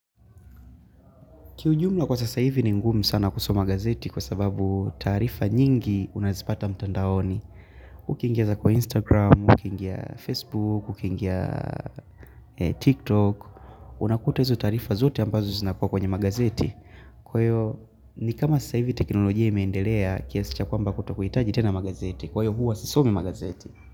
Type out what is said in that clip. Kiujumla kwa sasa hivi ni ngumi sana kusoma magazeti kwa sababu tarifa nyingi unazipata mtandaoni. Ukiingia za kwa Instagram, ukiingia Facebook, ukiingia TikTok. Unakuta hizo taarifa zote ambazo zinakua kwenye magazeti. Kwa hyo ni kama sasa hivi teknolojia imeendelea kiasi cha kwamba kutokuitaji tena magazeti. Kwa hiyo hua sisomi magazeti.